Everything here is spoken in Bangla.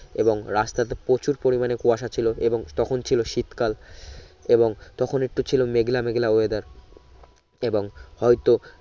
এবং রাস্তাতে প্রচুর পরিমানে কুয়াশা ছিলো এবং তখন ছিলো শীত কাল এবং তখন একটু ছিলো মেঘলা মেঘলা weather এবং হয়তো